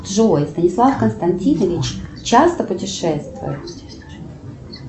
джой станислав константинович часто путешествует